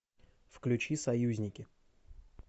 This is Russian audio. включи союзники